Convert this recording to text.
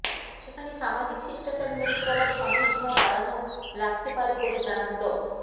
সেখানে সামাজিক শিষ্টাচার মেনে চলার সময়সীমা বাড়ানো লাগতে পারে বলে জানান ড